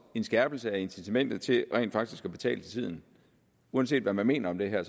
en skærpelse af incitamentet til rent faktisk at betale til tiden uanset hvad man mener om det her